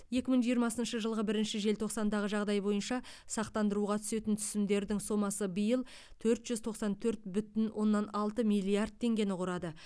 екі мың жиырмасыншы жылғы бірінші желтоқсандағы жағдай бойынша сақтандыруға түсетін түсімдердің сомасы биыл төрт жүз тоқсан төрт бүтін оннан алты миллиард теңгені құрады